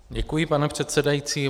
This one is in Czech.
Děkuji, pane předsedající.